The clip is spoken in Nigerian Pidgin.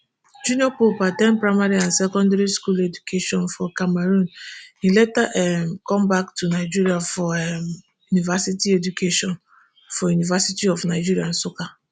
junior pope at ten d primary and secondary school education for cameroon e later um come back to nigeria for um university education for university of nigeria nsukka